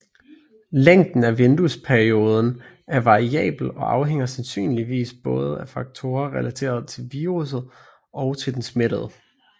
Længden af vinduesperioden er variabel og afhænger sandsynligvis både af faktorer relateret til viruset og til den smittede